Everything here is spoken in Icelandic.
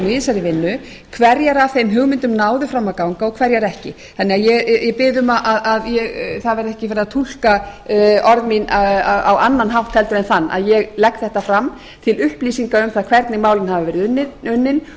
í þessari vinnu hverjar af þeim hugmyndum náðu fram að ganga og hverjar ekki þannig að ég bið um að það verði ekki verið að túlka orð mín á annan hátt en þann að ég legg þetta fram til upplýsinga um það hvernig málin hafa verið unnin og